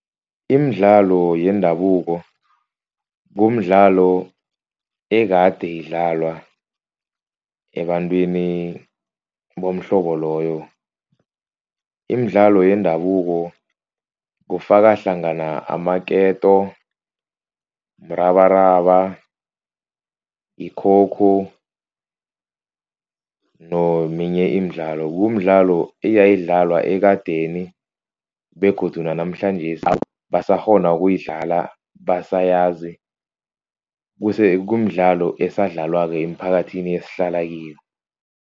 Imidlalo yendabuko kumdlalo ekade idlalwa ebantwini bomhlobo loyo. Imidlalo yendabuko kufaka hlangana amaketo, mrabaraba, yi-coco neminye imidlalo. Kumdlalo eyayidlalwa ekadeni begodu nanamhlanjesi basakghona ukuyidlala basayazi. Kumdlalo esadlalwako emphakathini esihlala kiyo.